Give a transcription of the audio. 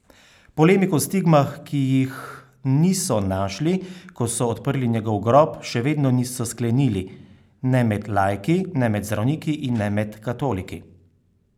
Polemik o stigmah, ki jih niso našli, ko so odprli njegov grob, še vedno niso sklenili, ne med laiki, ne med zdravniki in ne med katoliki.